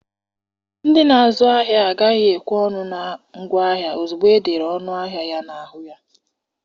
Ndị na-azụ ahịa agaghị ekwe ọnụ na ngwaahịa ozugbo e dere ọnụ ahịa ya na-ahụ ya.